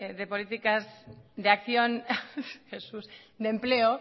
de políticas de acción de empleo